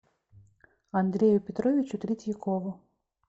андрею петровичу третьякову